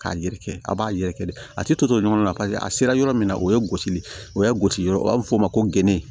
K'a yɛrɛkɛ a b'a yɛrɛkɛ dɛ a tɛ to ɲɔgɔnna paseke a sera yɔrɔ min na o ye gosili ye o ye gosi yɔrɔ ye o b'a fɔ o ma ko gende